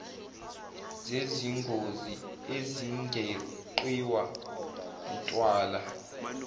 zezingozi ezingeqiwa ntwala